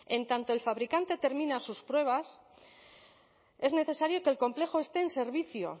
en tanto el fabricante termina sus pruebas es necesario que el complejo esté en servicio